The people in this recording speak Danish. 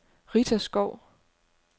Rita Skou